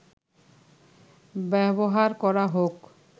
ব্যবহার করা হোক